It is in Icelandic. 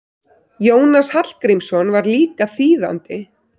Jónas Hallgrímsson var líka þýðandi.